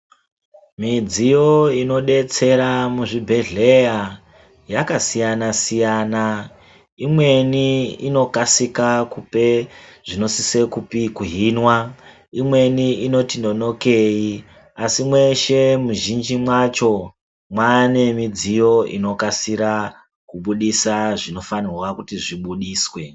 Midziyo inodetsera muzvigwehleya yakasiyana siyana imweni inokasika kupe zvinosisa kuhinwa imweni inoti nonokei, asi mweshe muzhinji macho mwane midziyo inokasira kubuditsa zvinofanirwa kuti zvibuditswe .